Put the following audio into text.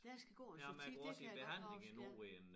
Der skal gå et stykke tid det kan jeg godt huske ja